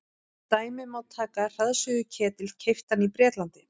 sem dæmi má taka hraðsuðuketil keyptan í bretlandi